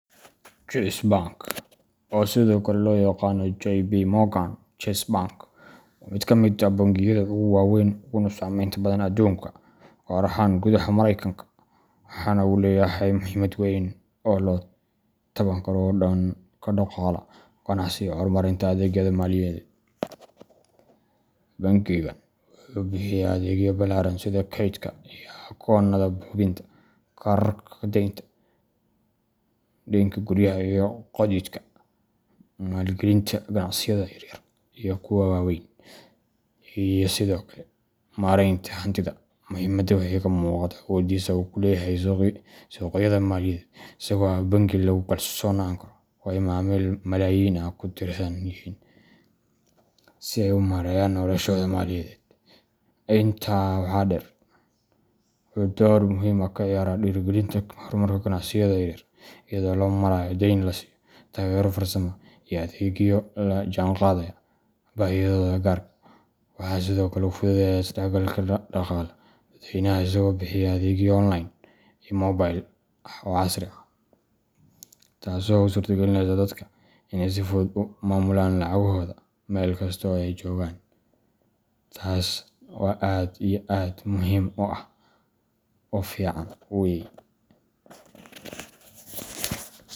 Chase Bank, oo sidoo kale loo yaqaan JPMorgan Chase Bank, waa mid ka mid ah bangiyada ugu waaweyn uguna saamaynta badan adduunka, gaar ahaan gudaha Maraykanka, waxaana uu leeyahay muhiimad weyn oo la taaban karo oo dhanka dhaqaalaha, ganacsiga, iyo horumarinta adeegyada maaliyadeed. Bangigan wuxuu bixiya adeegyo ballaaran sida kaydka iyo akoonnada hubinta, kaararka deynta , deynka guryaha iyo gaadiidka, maalgelinta ganacsiyada yaryar iyo kuwa waaweyn, iyo sidoo kale maaraynta hantida. Muhimada waxay ka muuqataa awooddiisa uu ku leeyahay suuqyada maaliyadeed, isagoo ah bangi lagu kalsoonaan karo oo ay macaamiil malaayiin ah ku tiirsan yihiin si ay u maareeyaan noloshooda maaliyadeed. Intaa waxaa dheer, wuxuu door muhiim ah ka ciyaaraa dhiirrigelinta horumarka ganacsiyada yar yar iyadoo loo marayo deyn la siiyo, taageero farsamo, iyo adeegyo la jaanqaadaya baahiyahooda gaarka ah. Waxa kale oo uu fududeeyaa isdhexgalka dhaqaale ee dadweynaha, isagoo bixiya adeegyo online iyo mobile ah oo casri ah, taasoo u suurtagelineysa dadka inay si fudud ugu maamulaan lacagohooda meel kasta oo ay joogaan. Tasi oo aad iyo aad muhim u ah oo fican weye.